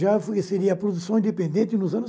Já seria produção independente nos anos